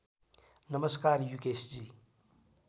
नमस्कार युकेशजी